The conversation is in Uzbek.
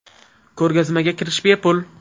Ko‘rgazmaga kirish bepul.